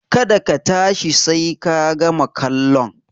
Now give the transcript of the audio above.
Ka da ka tashi sai ka gama kallon!